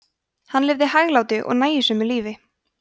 hann lifði hæglátu og nægjusömu lífi